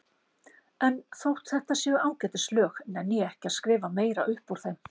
En þótt þetta séu ágætis lög nenni ég ekki að skrifa meira upp úr þeim.